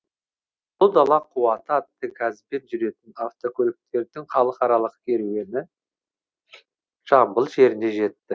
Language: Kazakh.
ұлы дала қуаты атты газбен жүретін автокөліктердің халықаралық керуені жамбыл жеріне жетті